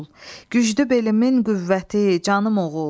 Güclü belimin qüvvəti, canım oğul.